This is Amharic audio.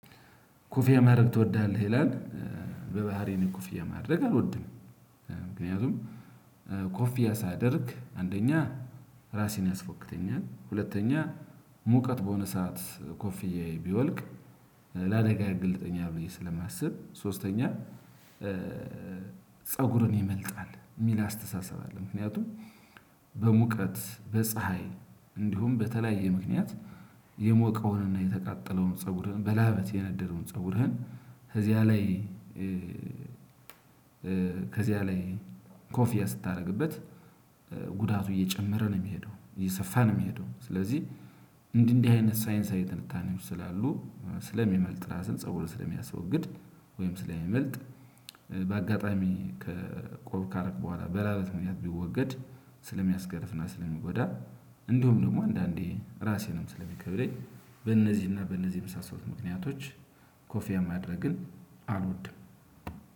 ኮፊያ ማድረግ ትወዳለህ ይላል? በባህሪየ እኔ ኮፊያ ማድረግ አልወድንም። ምክንያቱም ኮፊያ ሳደርግ አንደኛ ራሴን ያስፎክተኛል ሁለተኛ ሙቀት በሆነ ሰዓት ኮፍያየ ቢወልቅ ላደጋ ያጋልጠኛል ብየ ስለማስብ ሶስተኛ ፀጉርን ይመልጣል የሚል አስተሳሰብ አለ። ምክንያቱም በሙቀት በፀሀይ እንዲሁም በተለያየ ምክንያት የሞቀውንና የተቃጠለውን ፀጉርህን በላበት የነደደውን ፀጉርህን ከዚያ ላይ ከዚያ ላይ ኮፊያ ስታደርግበት ጉዳቱ እየጨመረ ነው የሚሄደው እየሰፋ ነው የሚሄደው። ስለዚህ እንዲህ እንዲህ አይነት ሳይንሳዊ ትንታኔዎች ስላሉ ስለሚመልጥ ራስን ፀብሩ ስለሚያስወግድ ወይም ስለሚመልጥ በአጋጣሚ ከቆብ ካረክ በኋላ በላለት ምክንያት ቢወገድ ስለሚያስገርፍና ስለሚጎዳ እንዲሁም ደግሞ አንዳንዴ ራሴንም ስለሚከብደኝ በእነዚህና በእነዚህ የመሳሰሉት ምክንያቶች ኮፊያ ማድረግን አልወድም።